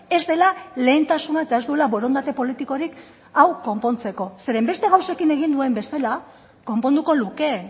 ez dela lehentasuna eta ez duela borondate politikorik hau konpontzeko zeren beste gauzekin egin duen bezala konponduko luke